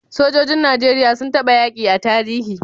Sojojin nigeria sun taba yaki a tarihi?